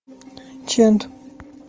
чент